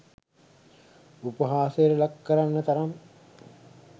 උපහාසයට ලක්කරන්න තරම්